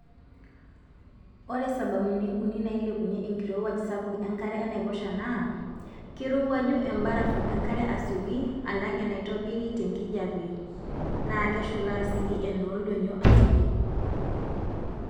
Ore sababuni uni nailepunye enkirowuaj sapuk enkare enaiposha naa:keirowuaju embarafu enkare asioki alang enaitobiri tenkijiepe naa keshola sii enooldonyio asioki.